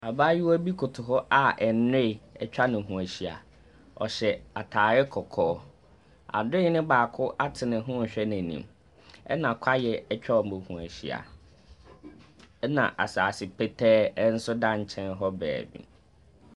Abaayewa bi koto hɔ a nnoe atwa ne ho ahyia. Ↄhyɛ ataare kɔkɔɔ. Adoe no baako ate ne ho rehwɛ n’anim, ɛna kwaeɛ atwa wɔn ho ahyia. ℇna asase pɛtɛɛ nso da nkyɛn hɔ baabi.